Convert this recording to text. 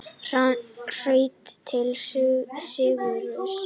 Hraut til sigurs